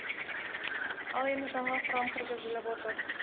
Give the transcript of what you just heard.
ал енді жаңа құрам кіргізіліп отыр